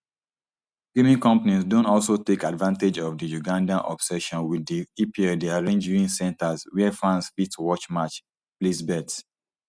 gaming companies don also take advantage of di ugandan obsession wit di epl dey arrange viewing centres wia fans fit watch match place bets